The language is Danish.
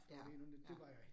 Ja, ja